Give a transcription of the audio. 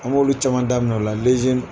An b'olu caman daminɛ o la .